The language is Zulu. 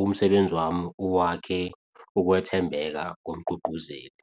umsebenzi wami uwakhe ukwethembeka komgqugquzeli.